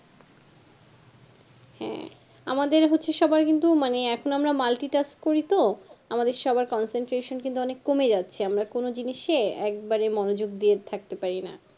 হ্যাঁ আমাদের হচ্ছে সব্বার কিন্তু আমরা এখুন multi-task করিত আমাদের সব কিন্তু concentration অনেক কমে যাচ্ছে আমরা কোনো জিনিসে একদম মনোযোগ দিয়ে ঠকতে পারিনা